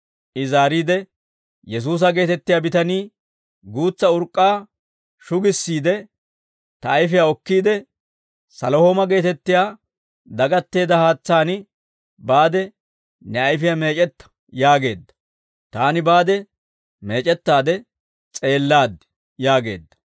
I zaariide, «Yesuusa geetettiyaa bitanii guutsa urk'k'aa shugissiide, ta ayfiyaa okkiide, ‹Salihooma geetettiyaa dagatteedda haatsaani baade ne ayfiyaa meec'etta› yaageedda. Taani baade meec'ettaade s'eellaad» yaageedda.